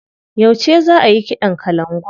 Yauce za ayi kiɗan kalangun?